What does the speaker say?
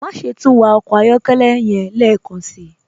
Máṣẹ̀ tún wà ọkọ ayọ̀kẹlẹ́ yẹ̀n lẹ́kánsí.